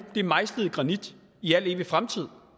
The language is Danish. er mejslet i granit i al fremtid